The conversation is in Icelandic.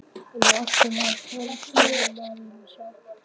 Hann er alltaf á hraðferð, maðurinn sá.